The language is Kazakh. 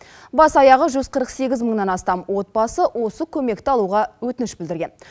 бас аяғы жүз қырық сегіз мыңнан астам отбасы осы көмекті алуға өтініш білдірген